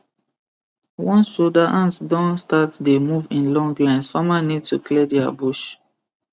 once soldier ant don start dey move in long lines farmer need to clear their bush